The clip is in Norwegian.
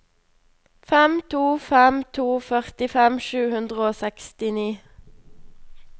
fem to fem to førtifem sju hundre og sekstini